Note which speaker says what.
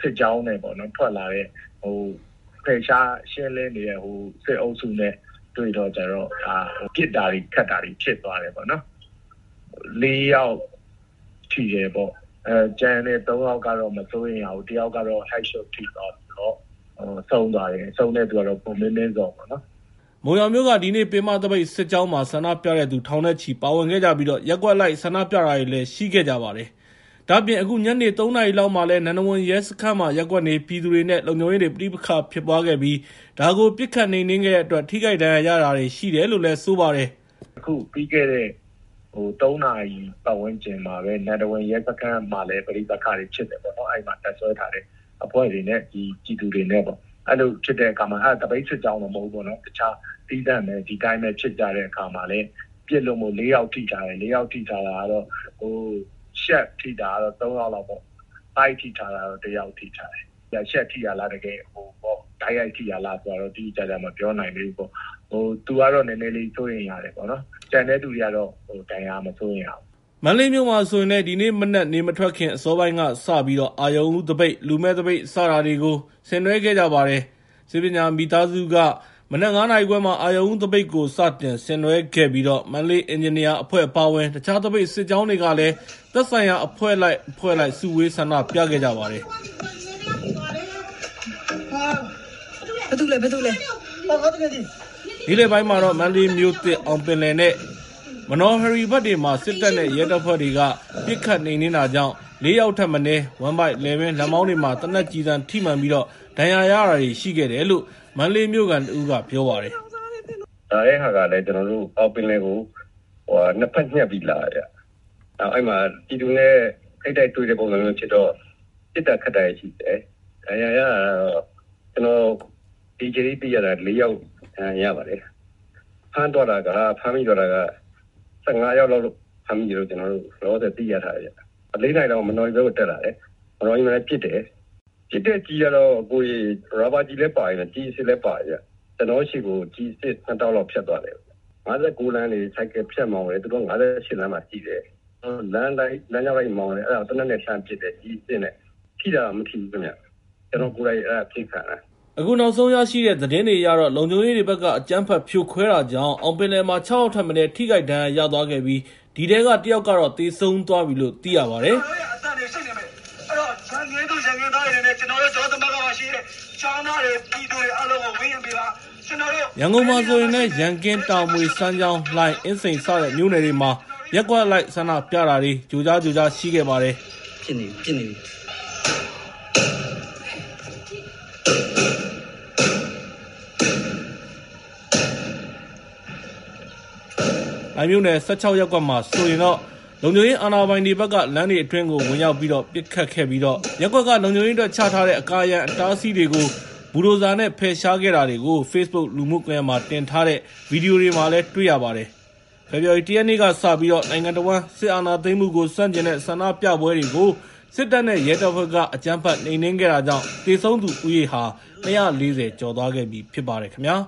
Speaker 1: ဖယ်ရှားရှင်းလင်းနေတဲ့ စစ်အုပ်စုနဲ့ တွေ့တော့ ပစ်တာခတ်တာတွေဖြစ်သွားတယ်။ ၄ ယောက်ထိတယ်။ ၃ ယောက်ကတော့ မစိုးရိမ်ရဘူး၊ ၁ ယောက်ကတော့ ဦးခေါင်းကျည်ထိမှန် (Head Shot) ထိသွားပြီးတော့ ဆုံးသွားတယ်။ ဆုံးတဲ့သူက ကိုမင်းမင်းဇော်ပါ။”
Speaker 2: မုံရွာမြို့က ဒီနေ့ ပင်မသပိတ်စစ်ကြောင်းမှာ ဆန္ဒပြတဲ့သူ ထောင်နဲ့ချီပါဝင်ခဲ့ကြပြီး ရပ်ကွက်အလိုက်ဆန္ဒပြတာတွေလည်းရှိခဲ့ပါတယ်။ ဒါ့အပြင် အခုညနေ ၃ နာရီလောက်မှာလည်း နန္ဒဝန်ရဲစခန်းမှာ ရပ်ကွက်နေပြည်သူတွေ နဲ့ လုံခြုံရေးတွေ ပဋိပက္ခဖြစ်ပွားခဲ့ပြီး ဒါကို ပစ်ခတ်နှိမ်နှင်းခဲ့တဲ့အတွက် ထိခိုက်ဒဏ်ရာရတာတွေရှိတယ်လို့ ပြောပါတယ်။ “အခုပြီးခဲ့တဲ့ ၃ နာ
Speaker 1: ရီပတ်ဝန်းကျင်မှာလည်း နန္ဒဝန်ရဲစခန်းမှာလည်း ပဋိပက္ခတွေဖြစ်တယ်၊ အဲဒီမှာ တပ်စွဲထားတဲ့ အဖွဲ့တွေနဲ့ ပြည်သူတွေနဲ့။ အဲဒါကသပိတ်စစ်ကြောင်းမဟုတ်ဘူး၊ ဒီအတိုင်းသီးသန့် ဒီအတိုင်းဖြစ်ကြတာ။ အဲဒီမှာပစ်လို့၄ ယောက်ထိသွားတယ်။ အဲဒီထိတဲ့အထိမှာ ရှပ်ထိတာက ၃ ယောက် ၊ ဗိုက်ထိတာက ၁ ယောက်ပေါ့။ အဲဒီဗိုက်ထိတဲ့သူက ရှပ်ထိတာလား တိုက်ရိုက်ထိတာလားဆိုတာတော့ တိတိကျကျ မပြောနိုင်သေးဘူး။ သူကတော့ နည်းနည်းလေး စိုးရိမ်ရတယ်။ ကျန်တဲ့သူတွေကတော့ မစိုးရိမ်ရဘူး။”
Speaker 2: မန္တလေးမြို့မှာဆိုရင်လည် ဒီနေ့မနက် နေမထွက်ခင် အစောပိုင်းကစပြီး အရုဏ်ဦးသပိတ်၊ လူမဲ့သပိတ် စတာတွေကို ဆင်နွဲခဲ့ကြပါတယ်။ ဆေးပညာမိသားစုက မနက် ၅ နာရီခွဲမှာ အရုဏ်ဦးသပိတ်ကို စတင်ဆင်နွဲခဲ့ပြီးတော့ မန္တလေးအင်ဂျင်နီယာများအဖွဲ့အပါအဝင် တခြား သပိတ်စစ်ကြောင်းတွေကလည်း သက်ဆိုင်ရာ အဖွဲ့လိုက် အဖွဲ့လိုက် စုဝေးဆန္ဒပြခဲ့ကြပါတယ်။ နေ့လည်ပိုင်းမှာတော့ မန္တလေးမြို့သစ်က အောင်ပင်လယ် နဲ့ မနော်ဟရီဘက်တွေမှာ စစ်တပ်နဲ့ရဲတပ်ဖွဲ့တွေက ပစ်ခတ်နှိမ်နှင်းတာကြောင့် ၄ ယောက်ထက်မနည်း ဝမ်းဗိုက်၊ လည်ပင်း၊ လက်မောင်းတွေမှာ သေနတ်ကျည်ထိမှန်ပြီး ဒဏ်ရာရတာတွေရှိတယ်လို့ မန္တလေးမြို့ခံတဦးက ပြောပါတယ်။ “ကျနော
Speaker 3: ်တို့ အောင်ပင်လယ်ကို ၂ ဘက် ညှပ်ပြီးလာတယ်။ အဲဒီမှာ ပြည်သူနဲ့ထိပ်တိုက်တွေ့တဲ့ ပုံစံမျိုးဖြစ်ကြတော့ ပစ်ခတ်တာတွေရှိတယ်။ ဒဏ်ရာရတာကတော့ ကျနော်ဒီအချိန်ထိ သိရတာကတော့ ၄ ယောက် ဒဏ်ရာရပါတယ်။ ဖမ်းသွားတာကတော့ ၁၅ ယောက်လောက် ဖမ်းသွားတယ်လို့ ကျနော်တို့ လောလောဆယ်သိထားတယ်။ ၄ နာရီလောက်ကျတော့ မနော်ဟရီဘက်ကို တက်လာတယ်။ မနော်ဟရီမှာလည်း ပစ်တယ်။ ပစ်တဲ့ကျည်ကတော့ ရာဘာကျည်လည်းပါတယ်။ ကျည်အစစ်လည်းပါတယ်။ ကျနော်တို့ဆီကို ကျည်အစစ် ၂ တောင့်လောက် ဖြတ်သွားတယ်။ ၅၉လမ်းကနေ ဆိုင်ကယ်ဖြတ်မောင်းတာ၊ သူတို့က ဟိုဘက် ၅၈ လမ်းမှာရှိတယ်။ လမ်းအတိုင်း လမ်းတောက်လျှောက်မောင်းတာ အဲဒါကို သေနတ်နဲ့လှမ်းပစ်တယ်။ ကျည်အစစ်နဲ့။ ထိတာတော့ မထိဘူးဗျ။ အဲဒါက ကျနော်ကိုယ်တိုင် ပစ်ခံရတာ။”
Speaker 2: အခုနောက်ဆုံးရရှိတဲ့ သတင်းတွေအရတော့ လုံခြုံရေးတွေဘက်က အကြမ်းဖက်ဖြိုခွဲတာကြောင့် အောင်ပင်လယ်မှာ ၆ ယောက် ထက်မနည်း ထိခိုက်ဒဏ်ရာရသွားခဲ့ပြီး ဒီထဲက ၁ ယောက်ကတော့ သေဆုံးသွားပြီလို့ သိရပါတယ်။ ရန်ကုန်မြို့မှာဆိုရင်လည်း ရန်ကင်း၊ တာမွေ၊ စမ်းချောင်း၊ လှိုင်၊ အင်းစိန် စတဲ့မြို့နယ်တွေမှာ ရပ်ကွက်အလိုက် ဆန္ဒပြတာတွေ ကြိုကြား ကြိုကြားရှိခဲ့ပါတယ်။ လှိုင်မြို့နယ် ၁၆ ရပ်ကွက်မှာဆိုရင်လည်း လုံခြုံရေးအာဏာပိုင်တွေဘက်က လမ်းတွေအတွင်းကိုဝင်ရောက်ပြီးတော့ ပစ်ခတ်ခဲ့ပြီး လုံခြုံရေးအတွက် ချထားတဲ့ အကာအရံအတားအဆီးတွေကို ဘူဒိုဇာတွေ ဖယ်ရှားခဲ့တာတွေကို Facebook လူမှုကွန်ရက်မှာ တင်ထားတဲ့ ဗီဒီယိုမှာ တွေ့ရပါတယ်။ ဖေဖော်ဝါရီ ၁ ရက်နေ့ကစပြီး နိုင်ငံတဝန်းက စစ်အာဏာသိမ်းမှုကို ဆန့်ကျင်တဲ့ ဆန္ဒပြပွဲတွေကို စစ်တပ်နဲ့ရဲတပ်ဖွဲ့တွေက အကြမ်းဖက်နှိမ်နှင်းခဲ့တာကြောင့် သေဆုံးသူဦးရေဟာ ၂၄၀ ကျော်သွားခဲ့ပြီဖြစ်ပါတယ်ခင်ဗျာ။